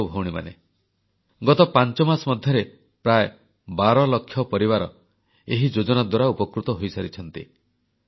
ଭାଇ ଓ ଭଉଣୀମାନେ ଗତ ପାଞ୍ଚମାସ ମଧ୍ୟରେ ପ୍ରାୟ ବାରଲକ୍ଷ ପରିବାର ଏହି ଯୋଜନା ଦ୍ୱାରା ଉପକୃତ ହୋଇସାରିଛନ୍ତି